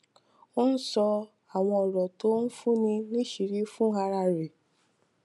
ó ń sọ àwọn òrò tó ń fúnni níṣìírí fún ara rè